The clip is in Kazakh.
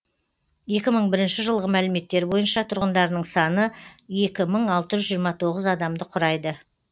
екі мың бірінші жылғы мәліметтер бойынша тұрғындарының саны екі мың алты жүз жиырма тоғыз адамды құрайды